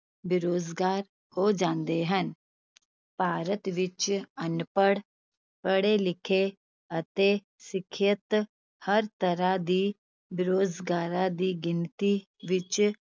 ਬੇਰੁਜ਼ਗਾਰ ਹੋ ਜਾਂਦੇ ਹਨ ਭਾਰਤ ਵਿਚ ਅਨਪੜ, ਪੜੇ ਲਿਖੇ ਅਤੇ ਸਿੱਖਿਅਤ ਹਰ ਤਰ੍ਹਾਂ ਦੀ ਬੇਰੁਜ਼ਗਾਰਾਂ ਦੀ ਗਿਣਤੀ ਵਿਚ